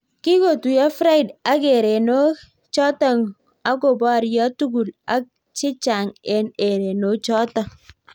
Kikotuiyo friede ak erenok chotok akopario tugul ak chechang eng erenok chotok